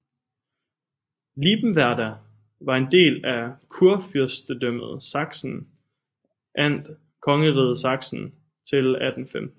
Liebenwerda var en del af Kurfyrstendømmet Sachsen and Kongeriget Sachsen til 1815